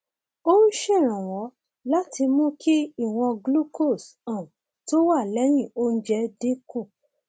ó ń ṣèrànwọ láti mú kí ìwọn glucose um tó wà lẹyìn oúnjẹ dín kù